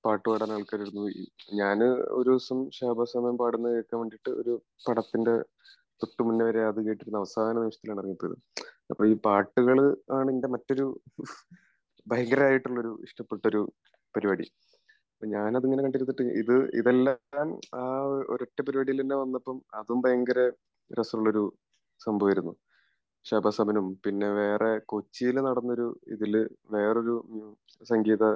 ഞാൻ ഒരു ദിവസം ഷാഹ്ബസ് അമൻ പാടുന്നത് കേൾക്കാൻ വേണ്ടീട്ട് ഒരു പടത്തിന്റെ തൊട്ടുമുന്നെ